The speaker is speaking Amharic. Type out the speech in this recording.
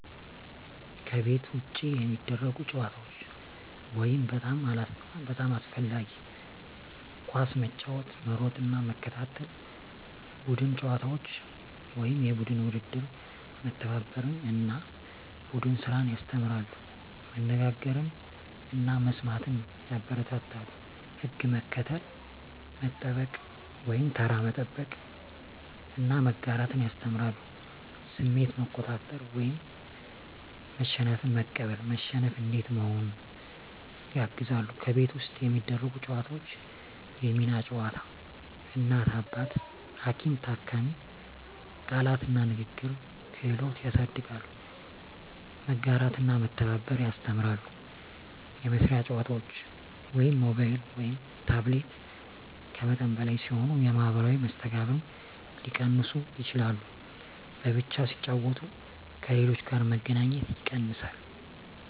ከቤት ውጭ የሚደረጉ ጨዋታዎች (በጣም አስፈላጊ) ኳስ መጫወት መሮጥና መከታተል ቡድን ጨዋታዎች (የቡድን ውድድር) መተባበርን እና ቡድን ስራን ያስተምራሉ መነጋገርን እና መስማትን ያበረታታሉ ሕግ መከተል፣ መጠበቅ (ተራ መጠበቅ) እና መጋራት ያስተምራሉ ስሜት መቆጣጠር (መሸነፍን መቀበል፣ መሸነፍ እንዴት መሆኑን) ያግዛሉ ከቤት ውስጥ የሚደረጉ ጨዋታዎች የሚና ጨዋታ (እናት–አባት፣ ሐኪም–ታካሚ) ቃላት እና ንግግር ክህሎት ያሳድጋሉ መጋራትና መተባበር ያስተምራሉ የመሳሪያ ጨዋታዎች (ሞባይል/ታብሌት) ከመጠን በላይ ሲሆኑ የማኅበራዊ መስተጋብርን ሊቀንሱ ይችላሉ በብቻ ሲጫወቱ ከሌሎች ጋር መገናኘት ይቀንሳል